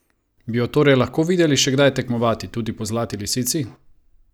Bi jo torej lahko videli še kdaj tekmovati, tudi po Zlati lisici?